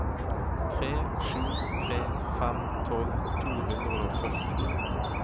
tre sju tre fem tolv to hundre og førtito